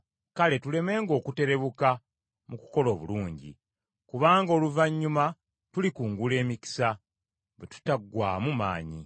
Kale tulemenga okuterebuka mu kukola obulungi, kubanga oluvannyuma tulikungula emikisa, bwe tutaggwaamu maanyi.